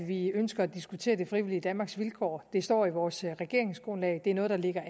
vi ønsker at diskutere det frivillige danmarks vilkår det står i vores regeringsgrundlag det er noget der ligger